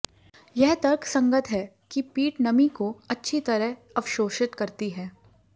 यह तर्कसंगत है कि पीट नमी को बहुत अच्छी तरह अवशोषित करती है